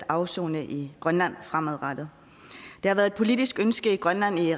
afsone i grønland fremadrettet det har været et politisk ønske i grønland i